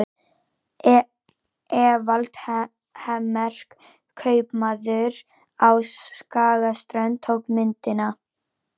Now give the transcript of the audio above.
Evald Hemmert, kaupmaður á Skagaströnd, tók myndina.